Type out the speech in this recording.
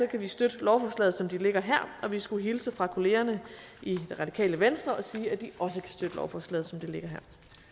kan vi støtte lovforslaget som det ligger her og vi skulle hilse fra kollegerne i det radikale venstre og sige at de også kan støtte lovforslaget som det ligger her